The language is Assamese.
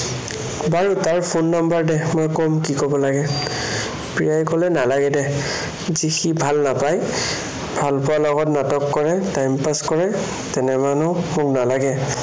বাৰু তাৰ phone number দে, মই কম যি কব লাগে। প্ৰিয়াই কলে, নালাগে দে, সি ভাল নাপায়, ভালপোৱাৰ লগত নাটক কৰে, time pass কৰে, তেনে মানুহ মোক নালাগে।